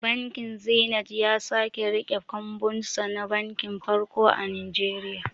Bankin zinet ya sake riƙe kambunsa na banki farko a Nigeria